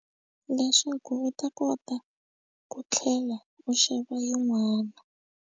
Leswaku u ta kota ku tlhela u xava yin'wana.